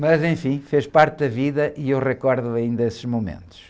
Mas, enfim, fez parte da vida e eu recordo-me ainda esses momentos.